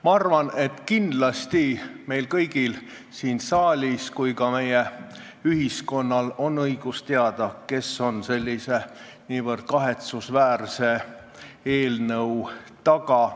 Ma arvan, et kindlasti on meil siin saalis ja kogu meie ühiskonnal õigus teada, kes on sellise nii kahetsusväärse eelnõu taga.